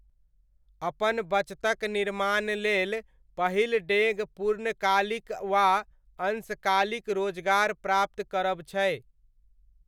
अपन बचतक निर्माण लेल पहिल डेग पूर्णकालिक वा अंशकालिक रोजगार प्राप्त करब छै।